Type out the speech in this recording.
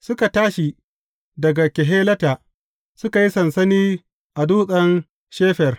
Suka tashi daga Kehelata, suka yi sansani a Dutsen Shefer.